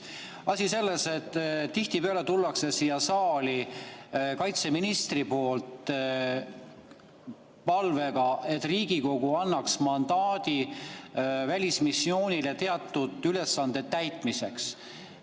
Asi on selles, et tihtipeale tuleb kaitseminister siia saali palvega, et Riigikogu annaks mandaadi välismissioonil teatud ülesande täitmiseks.